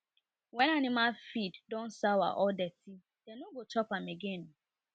wen animal feed don sour or dirty dem no go chop am again